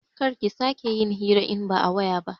Kar ki sake yin hira in ba a waya ba